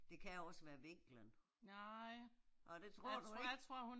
Det kan også være vinklen. Nå det tror du ikke?